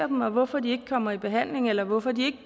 dem og hvorfor de ikke kommer i behandling eller hvorfor de